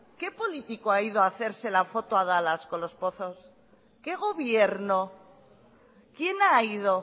qué político ha ido a hacerse la foto a dallas con los pozos qué gobierno quién ha ido